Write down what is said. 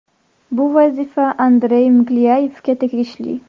Bu vazifa Andrey Miklyayevga tegishli.